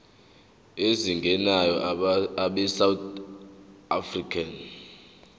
ezingenayo abesouth african